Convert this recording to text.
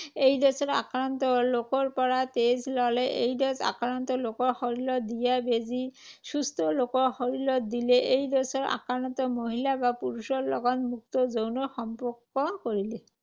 AIDS আক্ৰান্ত লোকৰ পৰা তেজ ল’লে। এইড্‌ছ আক্ৰান্ত লোকৰ শৰীৰত দিয়া বেজী সুস্থ লোকৰ শৰীৰত দিলে। এইড্‌ছ আক্ৰান্ত মহিলা বা পুৰুষৰ লগত মুক্ত যৌন সম্পৰ্ক কৰিলে।